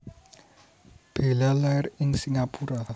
Bella lair ing Singapura